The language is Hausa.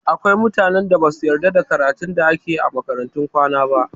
Akwai mutanen da basu yarda da karatun da ake yi a makarantun kwana ba